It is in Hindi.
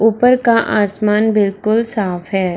ऊपर का आसमान बिल्कुल साफ है।